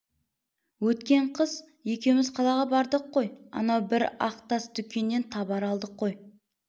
өткен қыс екеуміз қалаға бардық қой анау бір ақ тас дүкеннен табар алдық қой